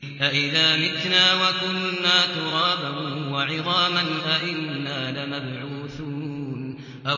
أَإِذَا مِتْنَا وَكُنَّا تُرَابًا وَعِظَامًا أَإِنَّا لَمَبْعُوثُونَ